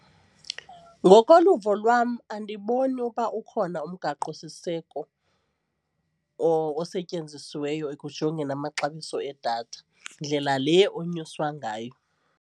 Ngokoluvo lwam andiboni uba ukhona umgaqosiseko osetyenzisiweyo ekujongeni amaxabiso edatha ndlela le unyuswa ngayo.